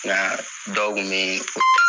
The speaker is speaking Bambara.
Nka dɔw nin.